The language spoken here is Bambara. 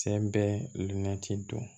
Sen bɛ limɛtiri don